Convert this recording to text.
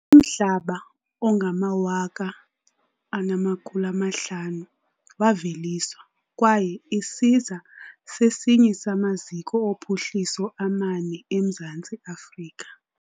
umhlaba ongangama-1500 waveliswa, kwaye isiza sesinye samaziko ophuhliso amane emzantsi afrika.